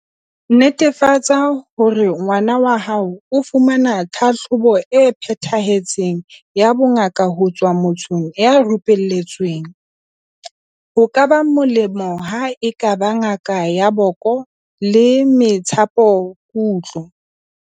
Netefatsa hore ngwana hao o fumana tlhahlobo e phethahetseng ya bongaka ho tswa mothong ya rupelletsweng, ho ka ba molemo ha e ka ba ngaka ya boko le methapokutlo.